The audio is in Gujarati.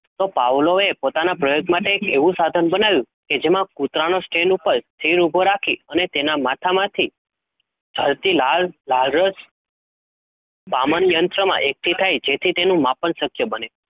તો Pavlov એ પોતાના પ્રયોગ માટે એક એવું સાધન બનાવ્યું કે જેમાં કૂતરાનો stand ઉપર ઉભો રાખી અને તેના માથામાંથી ઢળતી લાળ લાળરસ પામનયંત્રમાં એકઠી થાય જેથી તેનું માપન શક્ય બને.